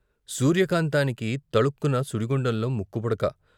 సూర్యకాంతానికి తలుక్కున సుడిగుండంలో ముక్కు పుడక.